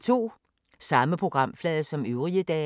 Samme programflade som øvrige dage